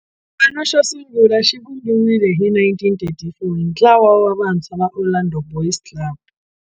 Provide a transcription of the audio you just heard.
Xipano xo sungula xivumbiwile hi 1934 hi ntlawa wa vantshwa va Orlando Boys Club.